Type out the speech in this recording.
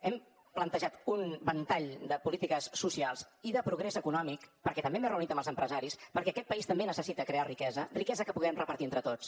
hem plantejat un ventall de polítiques socials i de progrés econòmic perquè també m’he reunit amb els empresaris perquè aquest país també necessita crear riquesa riquesa que puguem repartir entre tots